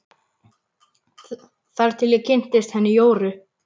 Þar til ég kynntist henni Jóru.